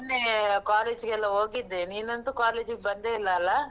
ಮೊನ್ನೆ college ಗೆಲ್ಲ ಹೋಗಿದ್ದೆ, ನೀನಂತೂ college ಗ್ ಬಂದೇ ಇಲ್ಲ ಅಲ್ಲ?